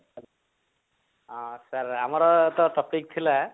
ଆଁ sir ଆମର ତ topic ଥିଲା